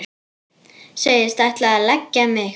Segist ætla að leggja mig.